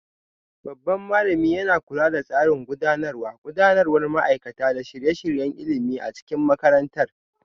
Babban malamin yana kula da tsarin gudanarwa, gudanarwar ma'aikata, da shirye-shiryen ilimi a cikin makarantar.